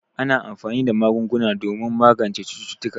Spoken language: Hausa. Ana anfani da magunguna domin magance cututtuka.